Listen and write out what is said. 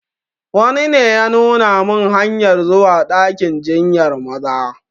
Wani ne ya nuna min hanyar zuwa dakin jinyar Maza.